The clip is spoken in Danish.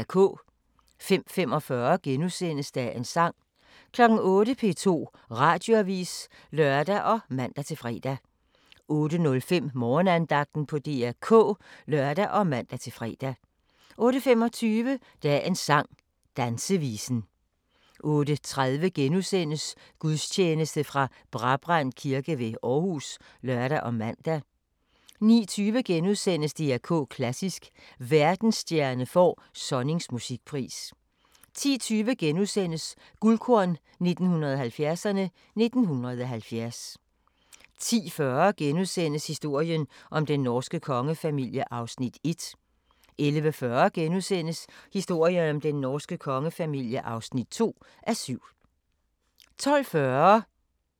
05:45: Dagens sang * 08:00: P2 Radioavis (lør og man-fre) 08:05: Morgenandagten på DR K (lør og man-fre) 08:25: Dagens sang: Dansevisen 08:30: Gudstjeneste fra Brabrand Kirke ved Aarhus *(lør og man) 09:20: DR K Klassisk: Verdensstjerne får Sonnings musikpris * 10:20: Guldkorn 1970'erne: 1970 * 10:40: Historien om den norske kongefamilie (1:7)* 11:40: Historien om den norske kongefamilie (2:7)* 12:40: Så gIKK